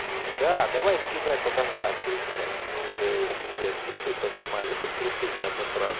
да давай скидывай фотографию блять мы уже пиздец трусы поснимали чтобы трусы не обосратся